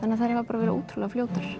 þannig að þær hafa bara verið ótrúlega fljótar